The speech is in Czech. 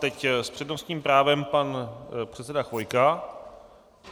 Teď s přednostním právem pan předseda Chvojka.